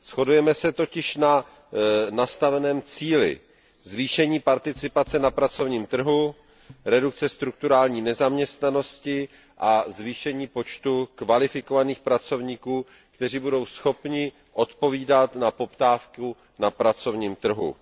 Shodujeme se totiž na nastaveném cíli zvýšení participace na pracovním trhu, redukci strukturální nezaměstnanosti a zvýšení počtu kvalifikovaných pracovníků, kteří budou schopni odpovídat na poptávku na pracovním trhu.